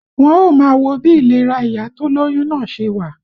Wọ́n ó máa wo bí ìlera ìyá tó lóyún náà ṣe wà